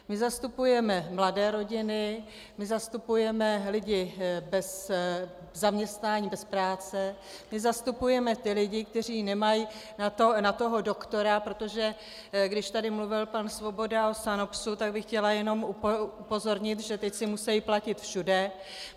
My zastupujeme mladé rodiny, my zastupujeme lidi bez zaměstnání, bez práce, my zastupujeme ty lidi, kteří nemají na toho doktora, protože když tady mluvil pan Svoboda o SANOPZu, tak bych chtěla jenom upozornit, že teď si musejí platit všude.